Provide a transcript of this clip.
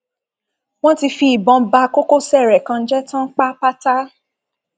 wọn ti fi ìbọn ba kókósẹ rẹ kan jẹ tán pápátá